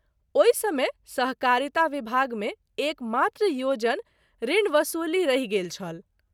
ओहि समय सहकारिता विभाग मे एक मात्र योजन ऋण वसूली रहि गेल छल।